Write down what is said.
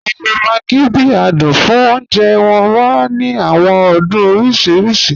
A lo maggi bi adun fun ọ̀unjẹ, wọn wa ni awọn adun oriṣiriṣi.